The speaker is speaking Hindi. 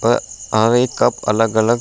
अ आवें कप अलग-अलग --